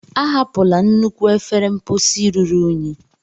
Ahapụla nnukwu efere mposi ruru unyi!